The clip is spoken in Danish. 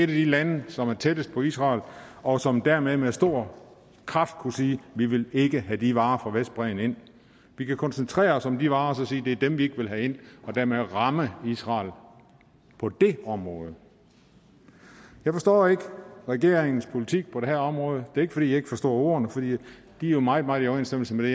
de lande som er tættest på israel og som dermed med stor kraft kunne sige vi vil ikke have de varer fra vestbredden ind vi kan koncentrere os om de varer og så sige at det er dem vi ikke vil have ind og dermed ramme israel på det område jeg forstår ikke regeringens politik på det her område er ikke fordi jeg ikke forstår ordene for de er jo meget meget i overensstemmelse med